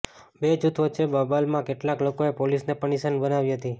બે જૂથ વચ્ચે બબાલમાં કેટલાક લોકોએ પોલીસને પણ નિશાન બનાવી હતી